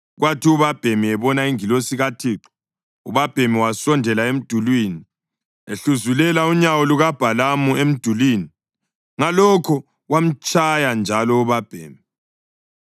Kwathi ubabhemi ebona ingilosi kaThixo, ubabhemi wasondela emdulini, ehluzulela unyawo lukaBhalamu emdulini. Ngalokho wamtshaya njalo ubabhemi.